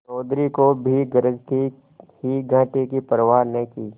चौधरी को भी गरज थी ही घाटे की परवा न की